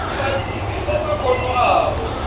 batfutfukise emakhono abo